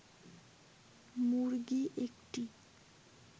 মুরগি ১টি